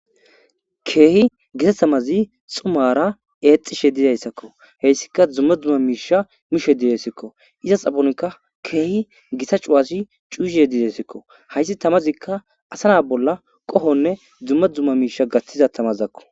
Keehi gisa tamazi xumara eexxishe didayssakko heyssika duumma duumma miisha mishe didayssakko iza xabonkka keehi gisa cuwasi cuuhe didayssikko hayssi tamazikka asana bolla qohonne dzumma dzumma miisha gathtiza tamazakko.